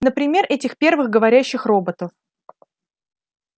например этих первых говорящих роботов